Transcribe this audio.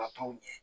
Ka t'o ɲɛ